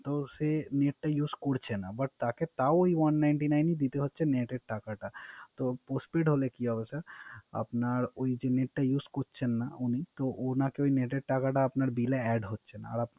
তো সে Net টা Use করছেন না But তাকে তাও ওই One ninety nine দিতে হচ্ছে Net এর টাকাটা। তো Pospain হলে কি হবে স্যা আপনার যে Net use করছে না উনি তো উনাকে Net টাকা আপনার বিল এ Add হচ্ছে না